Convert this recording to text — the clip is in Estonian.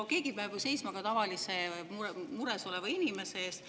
No keegi peab ju seisma ka tavalise mures oleva inimese eest.